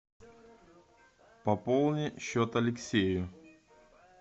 пополни счет алексею